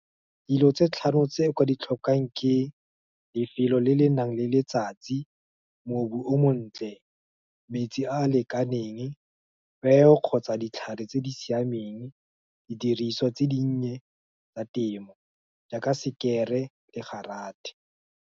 Dilo tse tlhano tse o ka ditlhokang ke, lefelo le le nang le letsatsi, mobu o montle, metsi a a lekaneng, peo kgotsa ditlhare tse di siameng, didiriswa tse di nnye tsa temo, jaaka sekere le go garathe.